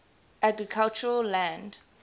agricultural land